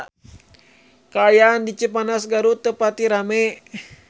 Kaayaan di Cipanas Garut teu pati rame